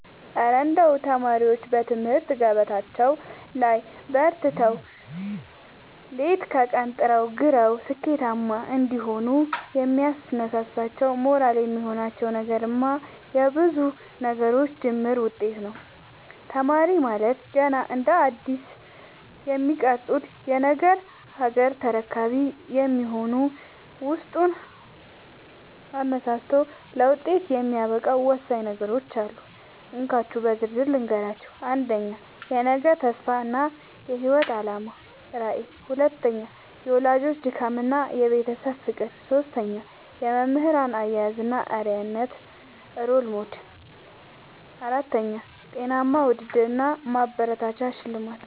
እረ እንደው ተማሪዎች በትምህርት ገበታቸው ላይ በርትተው፣ ሌት ከቀን ጥረውና ግረው ስኬታማ እንዲሆኑ የሚያነሳሳቸውና ሞራል የሚሆናቸው ነገርማ የብዙ ነገሮች ድምር ውጤት ነው! ተማሪ ማለት ገና እንደ አዲስ የሚቀረጽ የነገ ሀገር ተረካቢ በመሆኑ፣ ውስጡን አነሳስቶ ለውጤት የሚያበቃው ወሳኝ ነገሮች አሉ፤ እንካችሁ በዝርዝር ልንገራችሁ - 1. የነገ ተስፋ እና የህይወት አላማ (ራዕይ) 2. የወላጆች ድካምና የቤተሰብ ፍቅር 3. የመምህራን አያያዝ እና አርአያነት (Role Model) 4. ጤናማ ውድድር እና ማበረታቻ (ሽልማት)